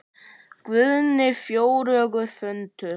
Guðný: Fjörugur fundur?